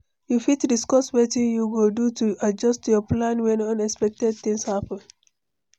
you fit discuss wetin you go do to adjust your plans when unexpected things happen?